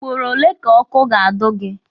Ugboro ole ka ọkụ ga-ado gị?